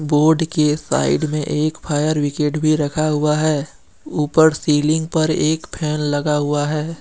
Board के side में एक फायर बिगेड भी रखा हुआ है। ऊपर सीलिंग पर एक फैन भी लगा हुआ है।